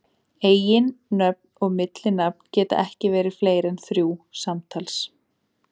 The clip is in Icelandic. Eiginnöfn og millinafn geta ekki verið fleiri en þrjú samtals.